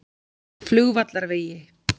Flugvallarvegi